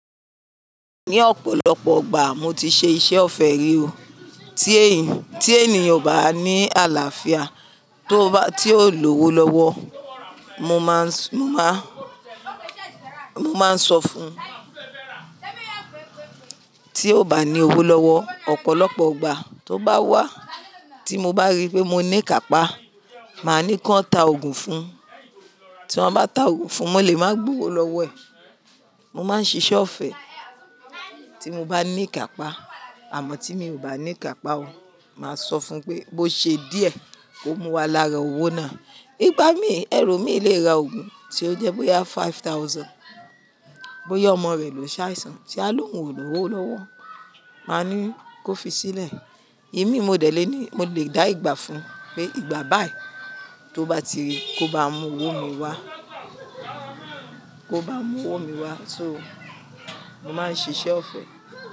Ní ọ̀pọ̀lọpọ̀ igbà mo ti ṣe iṣẹ́ ọ̀fẹ́ rí o. Tí ènìyàn ò bá ní àlàáfíà, tí ó ò ní owó lọ́wọ́, mo máa, mo máa sọ fún un. Tí ó bá ní owó lọ́wọ́, ọ̀pọ̀lọpọọgbà tó bá wá, tí mo bá rí pé mo ní kàpá, màá ní kí wọ́n tá oògùn fún un. Tí wọ́n bá tá oògùn fún un, mọ́ lè máa gbó owó lọ́wọ́ ẹ̀. Mo máa ń ṣe iṣẹ́ ọ̀fẹ́ tí mo bá ní kàpá, àmọ́ tí mi ò bá ní kàpá o, màá sọ fún un pé bó ṣe díẹ̀ kó mú wa lára owó náà. Ígbá mi, ẹ̀lọ mi lè ra oògùn tí ó jẹ́ bóyá five thousand, bóyá ọmọ rẹ̀ ló ṣàìsàn tí a lóhùn ò lọ́wọ́ lọ́wọ́, màá ní kó fi sílẹ̀. Imi modẹ̀ lé ní, mo lè dá ìgbà fún un pé ìgbà báyìí tó bá ti rí kó bá n mú owó mi wá, kó bá n mú owó mi wá sóo. Mo máa ń ṣe iṣẹ́ ọ̀fẹ́